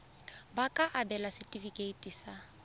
ba ka abelwa setefikeiti sa